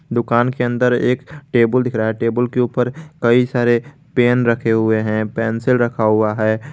दुकान के अंदर एक टेबुल दिख रहा है टेबुल के ऊपर कई सारे पेन रखे हुए हैं पेंसिल रखा हुआ है।